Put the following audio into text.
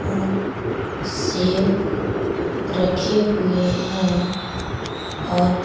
और सेब रखे हुए हैं और --